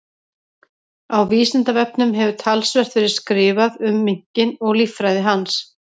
Á Vísindavefnum hefur talsvert verið skrifað um minkinn og líffræði hans.